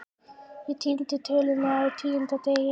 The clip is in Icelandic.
Ég týni tölunni á tíunda degi